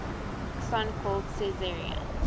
son called caesarion